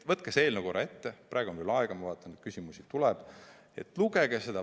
Võtke see eelnõu korraks ette, praegu on veel aega, ma vaatan, et küsimusi tuleb, ja lugege seda.